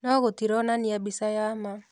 No gũtironania mbica ya ma.